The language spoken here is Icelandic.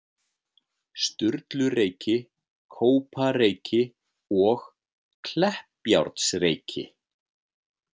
Sturlureyki, Kópareyki og Kleppjárnsreyki.